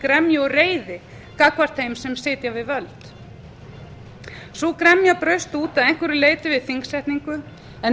gremju og reiði gagnvart þeim sem sitja við völd sú gremja braust út að einhverju leyti við þingsetningu en